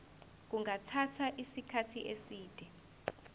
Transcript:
kungathatha isikhathi eside